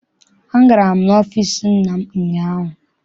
Agara m n'ọfịịsi nna m ụnyaahụ.